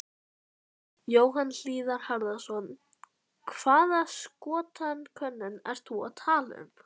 Jóhann Hlíðar Harðarson: Hvaða skoðanakönnun ertu að tala um?